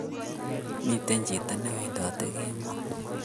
Miten chiton newendate kemo.